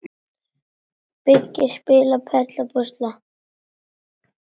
Byggja- spila- perla- púsla